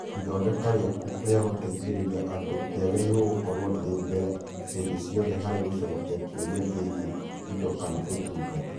Ithondeka rĩaku rĩa gũteithĩrĩria andũ rĩagĩrĩirũo gũkorũo rĩrĩ mbere hĩndĩ ciothe harĩ gũcokia kĩũria kĩgiĩ indo kana ũtungata.